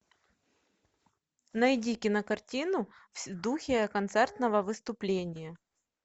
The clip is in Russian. найди кинокартину в духе концертного выступления